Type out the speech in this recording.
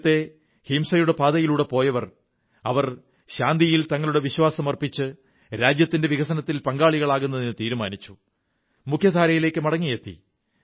നേരത്തേ ഹിംസയുടെ പാതയിലൂടെ പോയവർ ശാന്തിയിൽ തങ്ങളുടെ വിശ്വാസം അർപ്പിച്ചു രാജ്യത്തിന്റെ വികസനത്തിൽ പങ്കാളികളാകുന്നതിന് തീരുമാനിച്ചു മുഖ്യധാരയിലേക്കു മടങ്ങിയെത്തി